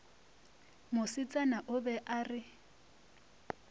mosetsana o be a re